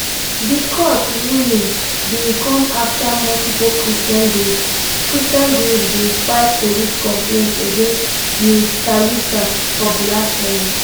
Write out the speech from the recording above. di court ruling bin come afta multiple christian groups christian groups bin file police complaints against ms thalisa for blasphemy